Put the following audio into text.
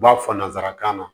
U b'a fɔ nanzarakan na